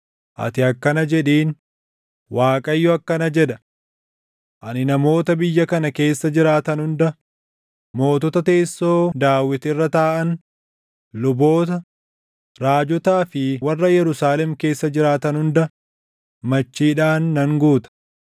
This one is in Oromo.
ati akkana jedhiin; ‘ Waaqayyo akkana jedha: Ani namoota biyya kana keessa jiraatan hunda, mootota teessoo Daawit irra taaʼan, luboota, raajotaa fi warra Yerusaalem keessa jiraatan hunda machiidhaan nan guuta.